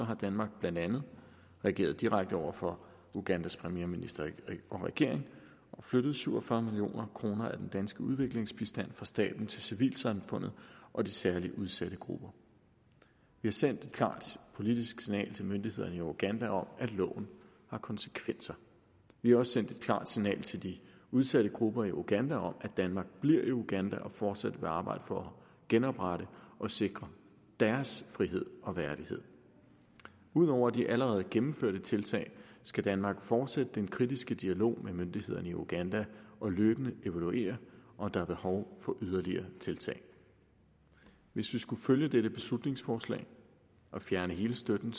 har danmark blandt andet reageret direkte over for ugandas premierminister og regering og flyttet syv og fyrre million kroner af den danske udviklingsbistand fra staten til civilsamfundet og de særligt udsatte grupper vi har sendt et klart politisk signal til myndighederne i uganda om at loven har konsekvenser vi har også sendt et klart signal til de udsatte grupper i uganda om at danmark bliver i uganda og fortsat vil arbejde for at genoprette og sikre deres frihed og værdighed ud over de allerede gennemførte tiltag skal danmark fortsætte den kritiske dialog med myndighederne i uganda og løbende evaluere om der er behov for yderligere tiltag hvis vi skulle følge dette beslutningsforslag og fjerne hele støtten